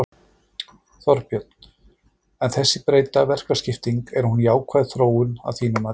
Þorbjörn: En þessi breytta verkaskipting, er hún jákvæð þróun að þínu mati?